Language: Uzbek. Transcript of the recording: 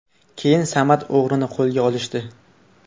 Keyin Samad o‘g‘rini qo‘lga olishdi.